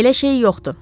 Elə şey yoxdur.